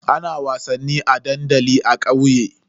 Ana wasannin a dandali a kauye.